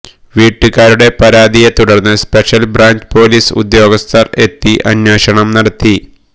വീട്ടുകാരുടെ പരാതിയെത്തുടര്ന്ന് special branch police ഉദ്യോഗസ്ഥര് എത്തി അന്വേഷണം നടത്തി